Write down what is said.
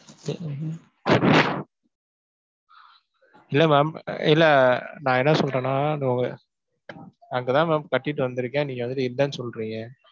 இல்லை ma'am இல்லை நான் என்ன சொல்றேன்னா அந்த உங்க அங்க தான் ma'am கட்டிட்டு வந்திருக்கேன். நீங்க வந்துட்டு இல்லைன்னு சொல்றீங்க